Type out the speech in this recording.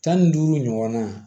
Tan ni duuru ɲɔgɔnna